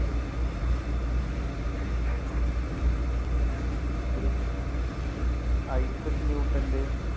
ഐസക് ന്യൂട്ടന്‍റെ